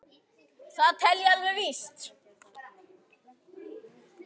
Það tel ég alveg víst.